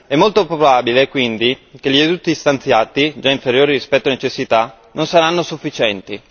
È molto probabile quindi che gli aiuti stanziati, già inferiori rispetto alle necessità, non saranno sufficienti.